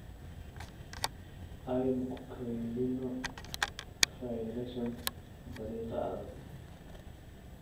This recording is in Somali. Aynu ku kaydinno faylashan dariiqa adag.